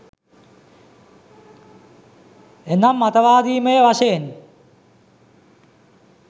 එනම් මතවාදීමය වශයෙන්